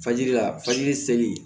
Fajiri la fajiri seli